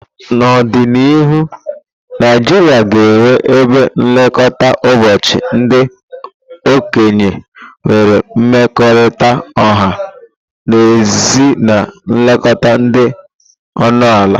N'ọdịnihu, Naijiria ga-enwe ebe nlekọta ụbọchị ndị okenye nwere mmekọrịta ọha na ezi na nlekọta dị ọnụ ala.